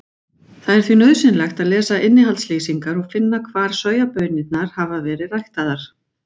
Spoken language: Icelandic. Það er því nauðsynlegt að lesa innihaldslýsingar og finna út hvar sojabaunirnar hafa verið ræktaðar.